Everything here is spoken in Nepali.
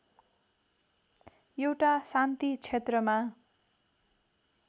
एउटा शान्ति क्षेत्रमा